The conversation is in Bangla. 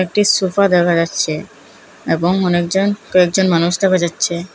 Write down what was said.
একটি সোফা দেখা যাচ্ছে এবং অনেকজন কয়েকজন মানুষ দেখা যাচ্ছে।